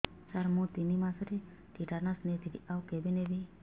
ସାର ମୁ ତିନି ମାସରେ ଟିଟାନସ ନେଇଥିଲି ଆଉ କେବେ ନେବି